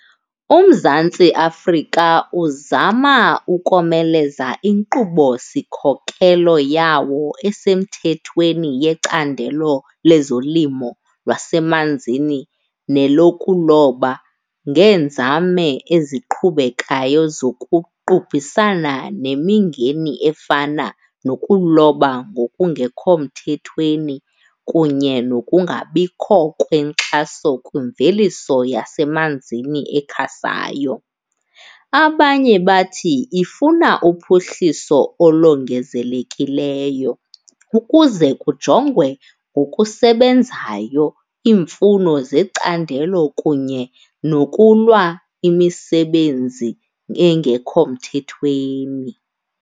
UMzantsi Afrika uzama ukomeleza inkqubo-sikhokelo yawo esemthethweni yecandelo lwezolimo lwasemanzini nelokuloba ngeenzame eziqhubekayo zokuqubhisana nemingeni efana nokuloba ngokungekho mthethweni kunye nokungabikho kwenkxaso kwimveliso yasemanzini ekhasayo. Abanye bathi ifuna uphuhliso olongezelekileyo ukuze kujongwe ngokusebenzayo iimfuno zecandelo kunye nokulwa imisebenzi engekho mthethweni.